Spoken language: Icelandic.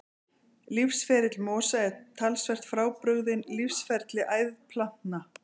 Lífsferill mosa er talsvert frábrugðinn lífsferli æðplantna.